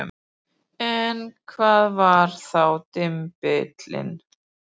En hvað var þá dymbill?